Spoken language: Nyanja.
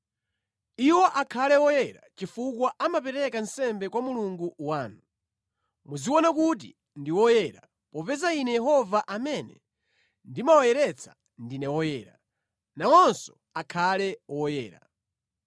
Iwo akhale oyera chifukwa amapereka nsembe kwa Mulungu wanu. Muziwaona kuti ndi oyera, popeza Ine Yehova amene ndimawayeretsa ndine woyera, nawonso akhale oyera.